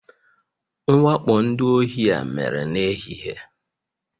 Mwakpo ndị ohi a mere n'ehihie